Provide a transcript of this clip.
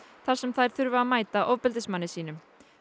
þar sem þær þurfi að mæta ofbeldismanni sínum